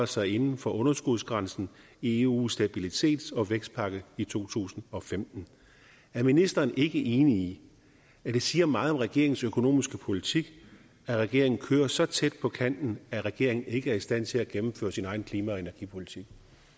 sig inden for underskudsgrænsen i eus stabilitets og vækstpagt i to tusind og femten er ministeren ikke enig i at det siger meget om regeringens økonomiske politik at regeringen kører så tæt på kanten at regeringen ikke er i stand til at gennemføre sin egen klima og energipolitik